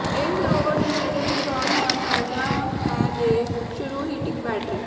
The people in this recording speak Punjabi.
ਇਹ ਸਰੋਵਰ ਦੇ ਨੇੜੇ ਇੰਸਟਾਲ ਹੋਣਾ ਚਾਹੀਦਾ ਹੈ ਦੇ ਸ਼ੁਰੂ ਹੀਟਿੰਗ ਬੈਟਰੀ